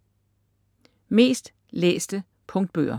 Mest læste punktbøger